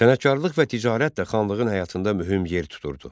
Sənətkarlıq və ticarət də xanlığın həyatında mühüm yer tuturdu.